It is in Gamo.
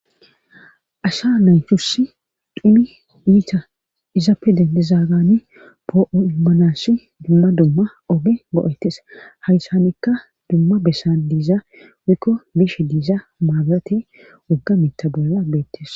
Asha naythuss dhumi iita izaappe dendezaagani poo'ummanasi dumma dumma oge go'etes haysanekka dumma bessan diiza wikko bishe diiza maabirate woggamitta bolla beettes.